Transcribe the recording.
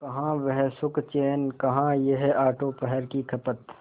कहाँ वह सुखचैन कहाँ यह आठों पहर की खपत